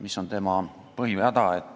Mis on igasuguste erandite põhihäda?